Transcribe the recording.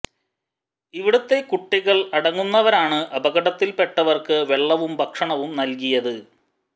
ഇവിടത്തെ കുട്ടികൾ അടങ്ങുന്നവരാണ് അപകടത്തിൽ പെട്ടവർക്ക് വെള്ളവും ഭക്ഷണവും നൽകിയത്